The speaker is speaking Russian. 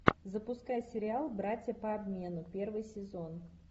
запускай сериал братья по обмену первый сезон